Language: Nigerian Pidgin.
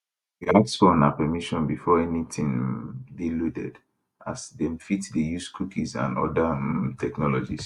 we ask for una permission before anytin um dey loaded as dem fit dey use cookies and oda um technologies